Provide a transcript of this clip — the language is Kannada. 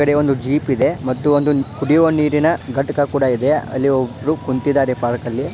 ಈಕಡೆ ಒಂದು ಜೀಪ್ ಇದೆ ಮತ್ತು ಒಂದ್ ಕುಡುಯುವ ನೀರಿನ ಘಟಖಾ ಕೂಡಾ ಇದೆ. ಇಲ್ಲಿ ಒಬ್ಬರು ಕುಂತಿದ್ದಾರೆ ಪಾರ್ಕ್ ಅಲ್ಲಿ.